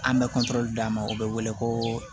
An bɛ d'a ma u bɛ wele ko